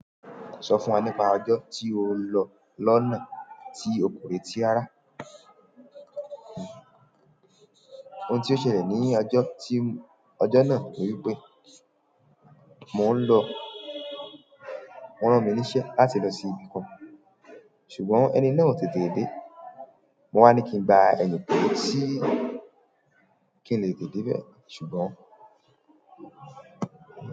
Sọ fún wa nípa ọjọ́ tí o ń lọ lọ́nà tí ọkùnrin tí ara. Ohun tí ó ṣẹlẹ̀ ní ọjọ́ tí, ọjọ́ náà ni wípé mò ń lọ, wọn rán mi níṣẹ́ láti lọ sí ibì kan ṣùgbọ́n ẹni náà ò tètè dé. Mo wá ní kí n ba ẹni pé tí, kí n lè dé ibẹ̀ ṣùgbọ́n.